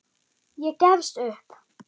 Ég gefst upp.